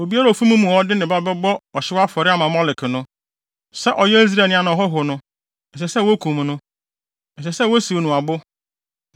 ‘Obiara a ofi mo mu a ɔde ne ba bɛbɔ ɔhyew afɔre ama Molek no, sɛ ɔyɛ Israelni anaa ɔhɔho no, ɛsɛ sɛ wokum no. Ɛsɛ sɛ wosiw no abo.